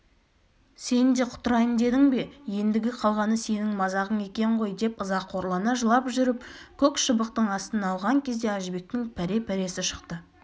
сен де құтырайын дедің бе ендігі қалғаны сенің мазағың екен ғой деп ызақорлана жылап жүріп көк шыбықтың астына алған кезде әжібектің пәре-пәресі шықты